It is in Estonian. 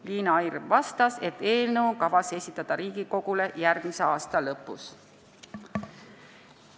Liina Hirv vastas, et eelnõu on kavas esitada Riigikogule järgmise aasta lõpus.